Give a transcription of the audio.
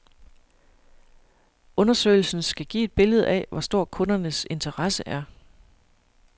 Undersøgelsen skal give et billede af, hvor stor kundernes interesse er.